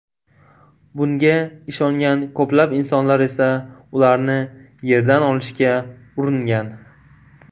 Bunga ishongan ko‘plab insonlar esa ularni yerdan olishga uringan.